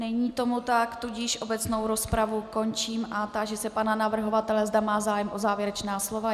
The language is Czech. Není tomu tak, tudíž obecnou rozpravu končím a táži se pana navrhovatele, zda má zájem o závěrečná slova.